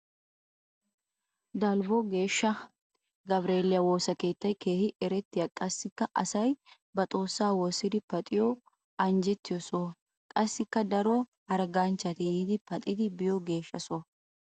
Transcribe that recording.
Dalbbo geeshsha gabireeliya woosa keettay keehi erettiyanne qassikka asay ba xoosa woosiddi paxxiyo anjjettidda soho. Qassikka daro hargganchchatti yiidi paxxiddi biyo geeshsha soho.